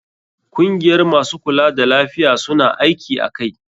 Kungiyar masu kula da lafiya, su na aiki a kai.